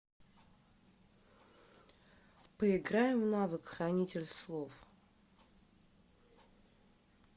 поиграем в навык хранитель слов